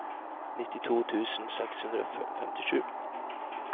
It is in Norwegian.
nittito tusen seks hundre og femtisju